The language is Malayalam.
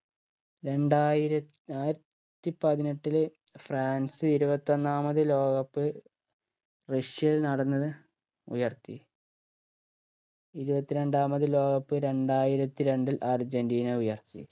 രണ്ടായിര ആയിരത്തി പതിനെട്ടിൽ ഫ്രാൻസ് ഇരുപത്തൊന്നാമത് ലോക cup റഷ്യയിൽ നടന്നത് ഉയർത്തി ഇരുപത്രണ്ടാമത് ലോക cup രണ്ടായിരത്തി രണ്ടിൽ അർജന്റീന ഉയർത്തി